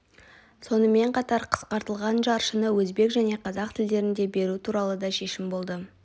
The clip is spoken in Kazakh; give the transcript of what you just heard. сонымен қатар қысқартылған жаршыны өзбек және қазақ тілдерінде беру туралы да шешім болды